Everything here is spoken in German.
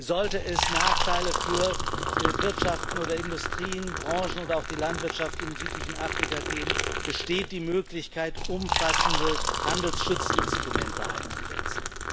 Sollte es Nachteile für Wirtschaften oder Industrien, Branchen oder auch die Landwirtschaft im südlichen Afrika geben, besteht die Möglichkeit, umfassende Handelsschutzinstrumente einzusetzen.